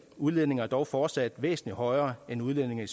udledninger er dog fortsat væsentlig højere end udledningerne